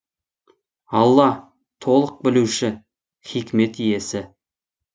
алла толық білуші хикмет иесі